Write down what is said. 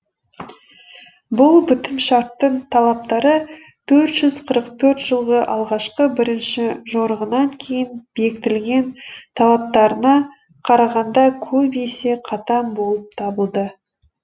бұл бітімшарттың талаптары төрт жүз қырық төрт жылғы алғашқы бірінші жорығынан кейін бекітілген талаптарына қарағанда көп есе қатаң болып табылды